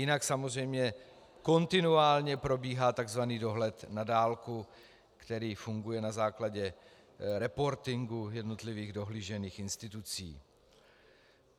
Jinak samozřejmě kontinuálně probíhá tzv. dohled na dálku, který funguje na základě reportingu jednotlivých dohlížených institucí.